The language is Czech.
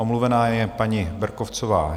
Omluvena je paní Berkovcová